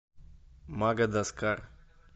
мадагаскар